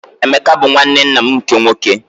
Emeka bụ nwanne nna m nke nwoke.